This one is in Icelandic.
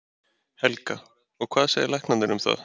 Helga: Og hvað segja læknarnir um það?